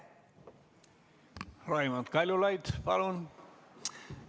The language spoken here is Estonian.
Raimond Kaljulaid, palun!